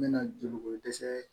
N mɛna joli ko dɛsɛ